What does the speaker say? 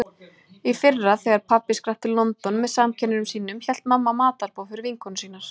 Í fyrra þegar pabbi skrapp til London með samkennurum sínum hélt mamma matarboð fyrir vinkonur sínar.